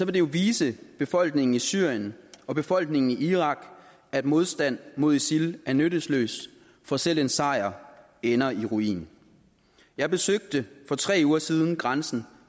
det jo vise befolkningen i syrien og befolkningen i irak at modstand mod isil er nyttesløs for selv en sejr ender i ruin jeg besøgte for tre uger siden grænsen